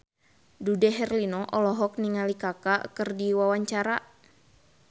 Dude Herlino olohok ningali Kaka keur diwawancara